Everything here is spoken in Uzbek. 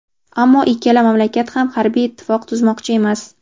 ammo ikkala mamlakat ham harbiy ittifoq tuzmoqchi emas.